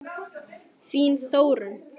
Þín Þórunn.